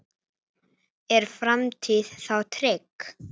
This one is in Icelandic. Er framtíð þá trygg?